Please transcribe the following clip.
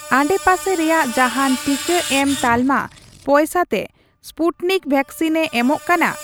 ᱟᱰᱮᱯᱟᱥᱮ ᱨᱮᱭᱟᱜ ᱡᱟᱦᱟᱱ ᱴᱤᱠᱟᱹ ᱮᱢ ᱛᱟᱞᱢᱟ ᱯᱚᱭᱥᱟ ᱛᱮ ᱥᱯᱩᱴᱱᱤᱠ ᱣᱮᱠᱥᱤᱱᱮ ᱮᱢᱚᱜ ᱠᱟᱱᱟ ?